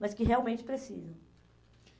Mas que realmente precisam.